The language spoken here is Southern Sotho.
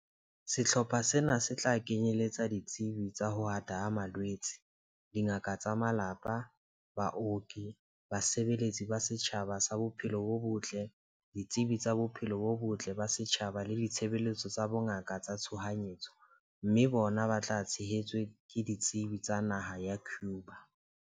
Sehlopha sena se tla kenyeletsa ditsebi tsa ho ata ha malwetse, dingaka tsa malapa, baoki, basebeletsi ba tsa setjhaba ba tsa bophelo bo botle, ditsebi tsa bophelo bo botle ba setjhaba le ditshebeletso tsa bongaka tsa tshohanyetso, mme bona ba tshehetswe ke ditsebi tsa naha ya Cuba.